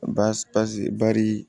Baasi pasi bari